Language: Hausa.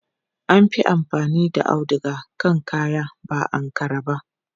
An fi amfani da auduga akan kayan ba Ankara ba.